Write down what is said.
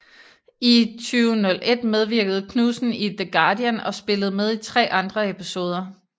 I 2001 medvirkede Knudsen i The Guardian og spillede med i tre andre episoder